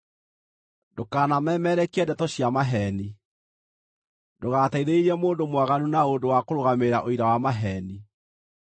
“Ndũkanamemerekie ndeto cia maheeni. Ndũgateithĩrĩrie mũndũ mwaganu na ũndũ wa kũrũgamĩrĩra ũira wa maheeni.